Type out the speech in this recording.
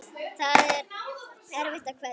Það er erfitt að kveðja.